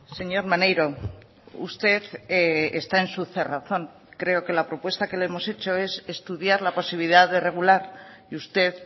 señor maneiro usted está en su cerrazón creo que la propuesta que le hemos hecho es estudiar la posibilidad de regular y usted